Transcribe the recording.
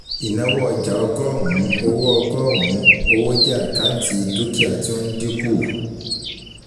Ìnáwó ọjà ọgọ́rùn-ún owó ọgọ́rùn-ún owó jẹ́ àkáǹtì dúkìá tí ó ń dínkù